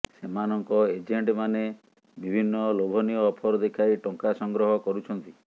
ସେମାନଙ୍କ ଏଜେଣ୍ଟମାନେ ବିଭିନ୍ନ ଲୋଭନୀୟ ଅଫର ଦେଖାଇ ଟଙ୍କା ସଂଗ୍ରହ କରୁଛନ୍ତି